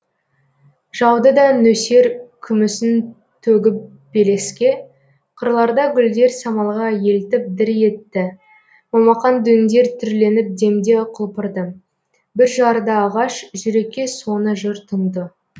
жауды да нөсер күмісін төгіп белеске қырларда гүлдер самалға елтіп дір етті момақан дөңдер түрленіп демде құлпырды бүр жарды ағаш жүрекке соны жыр тұнды